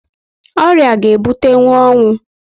Ọrịa ga ebutenwu ọnwụ